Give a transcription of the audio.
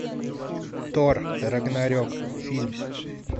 тор рагнарек фильм